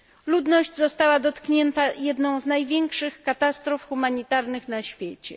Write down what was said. Ludność została dotknięta jedną z największych katastrof humanitarnych na świecie.